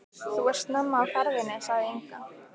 Þú ert snemma á ferðinni, sagði Inga.